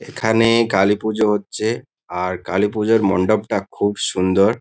এখানে-এ কালীপুজো হচ্ছে আর কালীপুজোর মণ্ডপটা খুব সুন্দর।